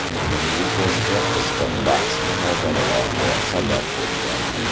Uning bu posti qizg‘in bahs-munozaralarga sabab bo‘lgan.